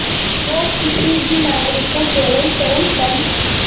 वो किसी भी नागरिक को केवल चरमपंथ